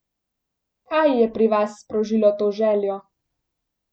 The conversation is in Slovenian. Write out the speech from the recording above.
Kaj je pri vas sprožilo to željo?